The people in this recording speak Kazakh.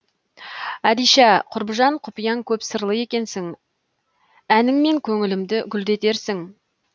әдиша құрбыжан құпияң көп сырлы екенсің әніңмен көңілімді гүлдетерсің